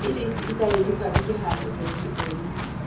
Iga irio icio itarĩ njikaru kĩhaarĩro-inĩ o rĩũ.